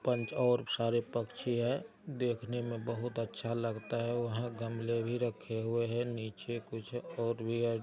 पंच और सारे पक्षी है। देखने मे बहुत अच्छा लगता है। वहाँ गमले भी रखे हुए है। नीचे कुछ और भी है।